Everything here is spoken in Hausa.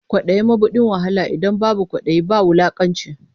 Kwaɗayi mabuɗin wahala, idan babu kwaɗayi ba wulakanci.